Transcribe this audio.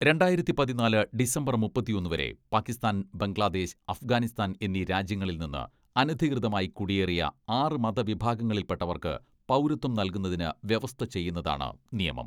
രണ്ടായിരത്തി പതിനാല് ഡിസംബർ മുപ്പത്തൊന്ന് വരെ പാകിസ്ഥാൻ, ബംഗ്ലാദേശ്, അഫ്ഗാനിസ്ഥാൻ എന്നീ രാജ്യങ്ങളിൽ നിന്ന് അനധികൃതമായി കുടിയേറിയ ആറ് മത വിഭാഗങ്ങളിൽപ്പെട്ടവർക്ക് പൗരത്വം നൽകുന്നതിന് വ്യവസ്ഥ ചെയ്യുന്നതാണ് നിയമം.